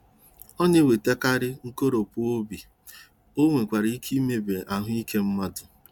ọ na-ewetakarị nkoropụ obi,o nwekwara ike imebi ahụ ike mmadụ.